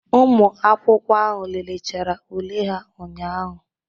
Ụmụ akwụkwọ ahụ léléchara ule ha ụnyahụ.